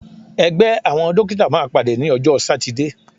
Ẹgbẹ́ àwọn Dókítà máa pàdé ní ọjọ́ sátidé.